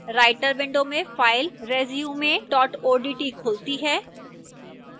writer window में file resume odt खुलती है